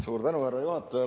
Suur tänu, härra juhataja!